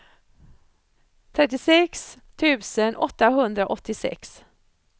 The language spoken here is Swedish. trettiosex tusen åttahundraåttiosex